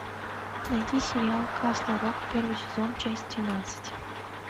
найди сериал касл рок первый сезон часть тринадцать